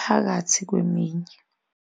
phakathi kweminye.